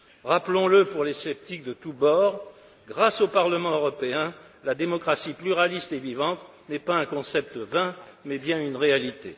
Rappelons le pour les sceptiques de tout bord, grâce au Parlement européen, la démocratie pluraliste et vivante n'est pas un concept vain, mais bien une réalité.